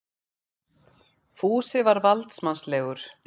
Fúsi var valdsmannslegur.